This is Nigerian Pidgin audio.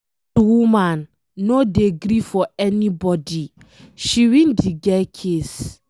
Dat woman no dey gree for anybody, she win the girl case.